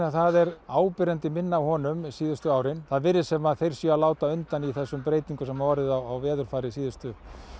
það er áberandi minna af honum síðustu árin það virðist sem þeir séu að láta undan þeim breytingum sem hefur orðið á veðurfari síðustu